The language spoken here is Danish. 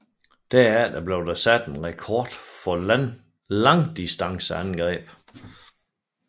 Dermed blev der sat en rekord for langdistanceangreb